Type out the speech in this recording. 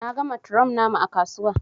Na gan matron namu ã kasuwa.